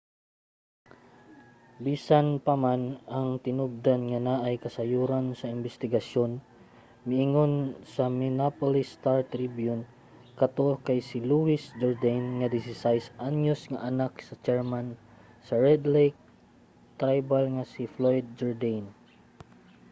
bisan pa man ang tinubdan nga naay kasayuran sa imbestigasyon miingon sa minneapolis star-tribune nga kato kay si louis jourdaine ang 16 anyos nga anak sa chairman sa red lake tribal nga si floyd jourdain